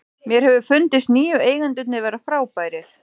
Mér hefur fundist nýju eigendurnir vera frábærir.